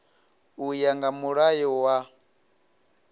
u ya nga mulayo wa